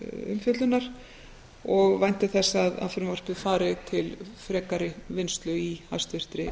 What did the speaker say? umfjöllunar og vænti þess að frumvarpið fari til frekari vinnslu í hæstvirtri